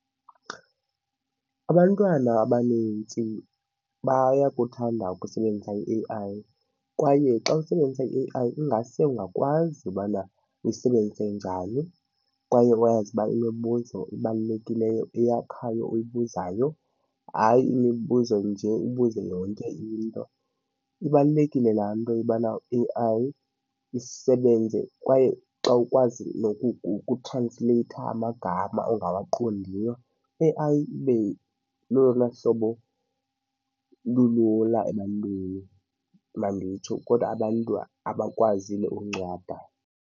Abantwana abanintsi bayakuthanda ukusebenzisa i-A_I kwaye xa usebenzisa i-A_I ingase ungakwazi ubana uyisebenzise njani kwaye wazi uba imibuzo ebalulekileyo eyakhayo oyibuzayo, hayi imibuzo nje ubuze yonke into. Ibalulekile laa nto ubana i-A_I isebenze kwaye xa ukwazi ukutransleyitha amagama ongawaqondiyo, A_I ibe lolona hlobo lulula ebantwini manditsho, kodwa abantu abakwaziyo uncwada.